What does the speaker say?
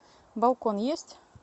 балкон есть